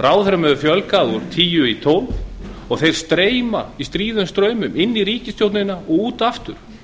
ráðherrum hefur fjölgað úr tíu í tólf og þeir streyma í stríðum straumum inn í ríkisstjórnina og út aftur